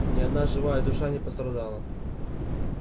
ни одна живая душа не пострадала